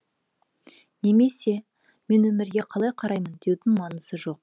немесе мен өмірге қалай қараймын деудің маңызы жоқ